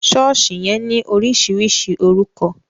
Sọ̀ọ́sì yẹn ní oríṣiríṣi orúkọ